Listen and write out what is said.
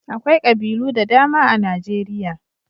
Akwai ƙabilu da dama a Najeriya.